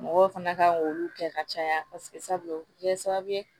Mɔgɔw fana kan k'olu kɛ ka caya paseke sabula o bɛ kɛ sababu ye